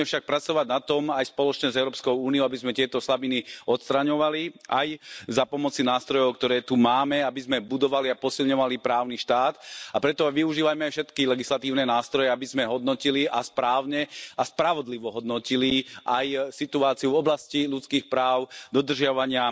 Musíme však pracovať na tom aj spoločne s Európskou úniou, aby sme tieto slabiny odstraňovali aj za pomoci nástrojov, ktoré tu máme, aby sme budovali a posilňovali právny štát, a preto aj využívajme všetky legislatívne nástroje, aby sme hodnotili a správne a spravodlivo hodnotili aj situáciu v oblasti ľudských práv, dodržiavania